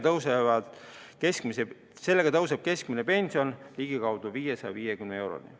Sellega tõuseb keskmine pension ligikaudu 550 euroni.